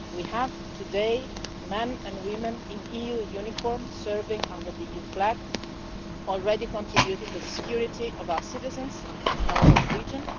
We have today men and women in EU uniforms serving under the EU flag, already contributing to the security of our citizens and our own region.